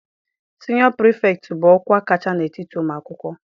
Siniọ pirifektị bụ ọkwa kacha n'etiti ụmụ akwụkwọ.